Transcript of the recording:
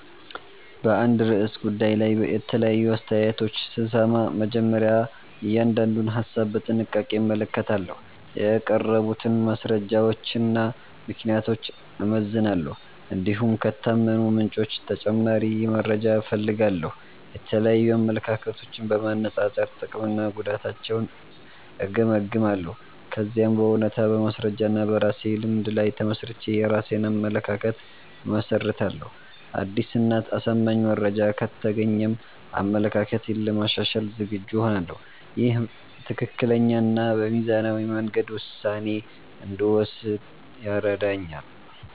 በአንድ ርዕሰ ጉዳይ ላይ የተለያዩ አስተያየቶችን ስሰማ፣ መጀመሪያ እያንዳንዱን ሀሳብ በጥንቃቄ እመለከታለሁ። የቀረቡትን ማስረጃዎችና ምክንያቶች እመዝናለሁ፣ እንዲሁም ከታመኑ ምንጮች ተጨማሪ መረጃ እፈልጋለሁ። የተለያዩ አመለካከቶችን በማነጻጸር ጥቅምና ጉዳታቸውን እገመግማለሁ። ከዚያም በእውነታ፣ በማስረጃ እና በራሴ ልምድ ላይ ተመስርቼ የራሴን አመለካከት እመሰርታለሁ። አዲስ እና አሳማኝ መረጃ ከተገኘም አመለካከቴን ለማሻሻል ዝግጁ እሆናለሁ። ይህ በትክክለኛ እና በሚዛናዊ መንገድ ውሳኔ እንድወስን ይረዳኛል።